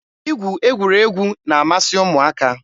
Igwu egwuregwu na-amasị ụmụaka.